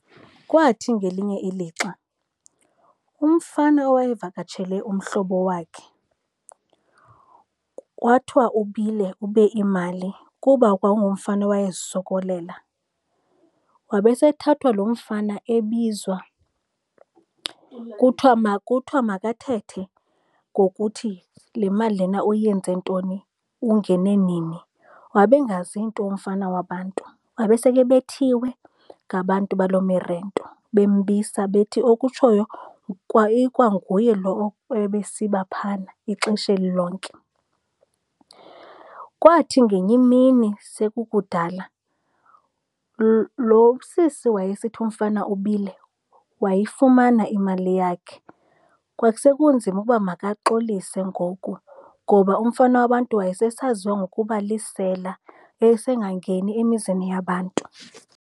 Kwathi ngelinye ilixa umfana owayevakatshele umhlobo wakhe kwathiwa ubile, ube imali kuba kwakungumfana owayezisokolela. Wabe sethathwa lo mfana ebizwa kuthwa makathethe ngokuthi le mali lena uyenze ntoni, ungene nini. Wabe engazi nto umfana wabantu, wabe sekebethiwe ngabantu balo mirento, bembisa bethi okutshoyo kwa ikwanguye lo ebesiba phayana ixesha eli lonke. Kwathi ngenye imini sekukudala, lo sisi wayesithi umfana ubile wayifumana imali yakhe. Kwakuse kunzima ukuba makaxolise ngoku ngoba umfana wabantu wayesesaziwa ngokuba lisela esengangeni emizini yabantu.